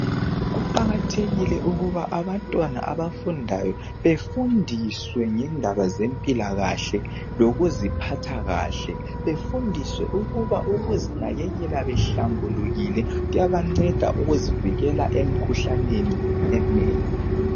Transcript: Kuqakathekile ukubana abantwana abafundayo befundiswe ngendaba zempila kahle lokuziphatha kahle, befundiswe ukuthi ukuzi nakekela behlambulukile kuyabanceda ukuzivikela emikhuhlaneni emnengi.